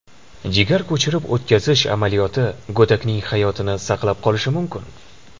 Jigar ko‘chirib o‘tkazish amaliyoti go‘dakning hayotini saqlab qolishi mumkin.